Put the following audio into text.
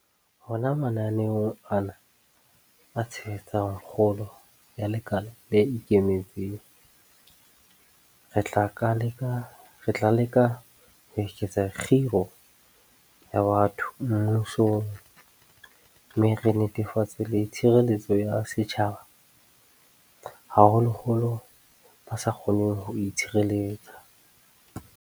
Hona mananeong ana a tshehetsang kgolo ya lekala le ikemetseng, re tla leka ho eketsa kgiro ya batho mmusong mme re netefatse le tshireletso ya setjhaba, haholoholo ba sa kgoneng ho itshireletsa.